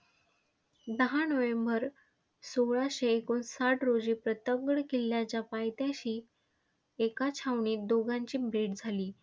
दहा नोव्हेंबर सोळाशे एकोणसाठ रोजी प्रतापगड किल्ल्याच्या पायथ्याशी एका छावणीत दोघांची भेट झाली.